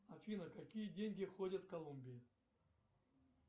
афина какие деньги ходят в колумбии